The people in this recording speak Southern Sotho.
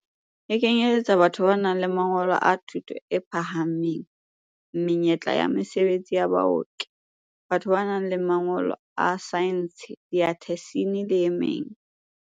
E kenyeletsa batho ba nang le mangolo a thuto e phahameng, menyetla ya mesebetsi ya baoki, batho ba nang le mangolo a saense, diathesine le e meng.